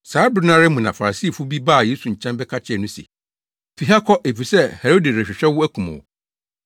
Saa bere no ara mu na Farisifo bi baa Yesu nkyɛn bɛka kyerɛɛ no se, “Fi ha kɔ, efisɛ Herode rehwehwɛ wo akum wo.”